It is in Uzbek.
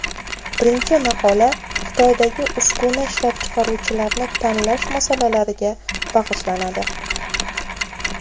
Birinchi maqola Xitoydagi uskuna ishlab chiqaruvchilarni tanlash masalalariga bag‘ishlanadi.